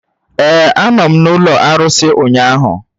Ee, a nọ m n'ụlọ arụsị ụnyahụ.